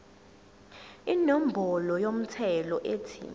inombolo yomthelo ethi